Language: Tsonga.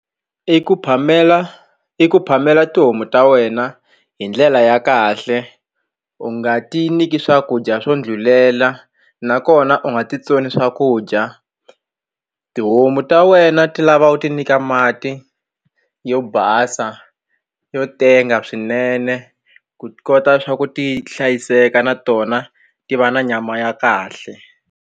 I ku phamela i ku phamela tihomu ta wena hi ndlela ya kahle u nga ti nyiki swakudya swo ndlhulela nakona u nga titsoni swakudya tihomu ta wena ti lava u ti nyika mati yo basa yo tenga swinene ku ti kota swa ku ti hlayiseka na tona ti va na nyama ya kahle.